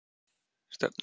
Stefnir